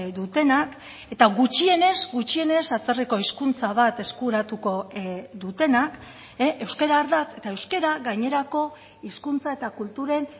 dutenak eta gutxienez gutxienez atzerriko hizkuntza bat eskuratuko dutenak euskara ardatz eta euskara gainerako hizkuntza eta kulturen